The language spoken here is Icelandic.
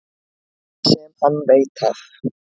Sem hann veit af.